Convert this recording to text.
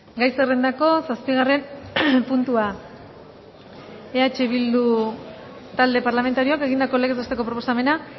gai zerrendako zazpigarren puntua eh bildu talde parlamentarioak egindako legez besteko proposamena